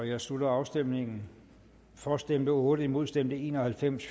jeg slutter afstemningen for stemte otte imod stemte en og halvfems